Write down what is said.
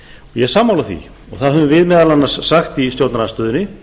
ég er sammála því og það höfum við meðal annars sagt í stjórnarandstöðunni